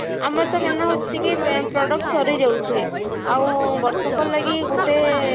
ଆମର ତ କେନ ଅଛି କି product ସଋ ଯାଉଛି ଆଉ ବର୍ଷକ ଲାଗି ଗୋଟେ